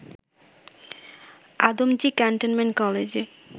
Adamjee cantonment কলেজে